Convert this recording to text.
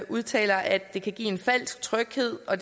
udtaler at det kan give en falsk tryghed og